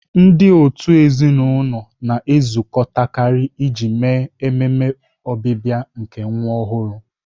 Ndị òtù ezinụlọ na-ezukọtakarị iji mee ememe ọbịbịa nke nwa ọhụrụ.